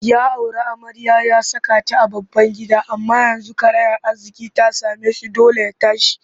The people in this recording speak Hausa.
Ya auri amarya ya saka ta a babban gida amma yanzu karayar arziƙi ta same shi dole ya tashi